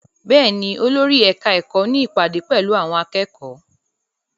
Bẹ́ẹ̀ ni, olórí ẹ̀ka-ẹ̀kọ́ ní ìpàdé pẹ̀lú àwọn akẹ́kọ̀ọ́.